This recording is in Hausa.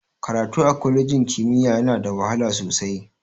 Karatu a kwalejin ƙimiya yana da wahala sosai.